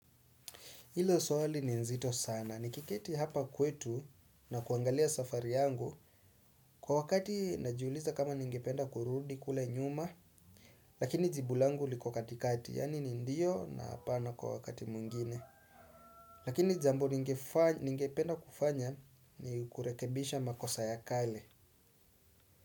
Hilo swali ni nzito sana. Nikiketi hapa kwetu na kuangalia safari yangu kwa wakati najiuliza kama ningependa kurudi kule nyuma lakini jibu langu liko katikati yaani ni ndio na hapana kwa wakati mwingine. Lakini jambo ningependa kufanya ni kurekebisha makosa ya kale.